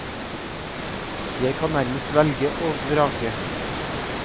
Jeg kan nærmest velge og vrake.